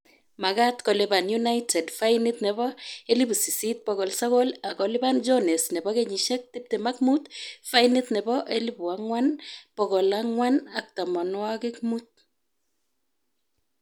Magaat kolipan united fainit nebo �8,900, ak kolipan jones nebo kenyishek 25 fainit nebo �4,450